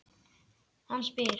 Hann spyr.